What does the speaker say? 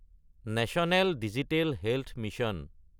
national digital health mission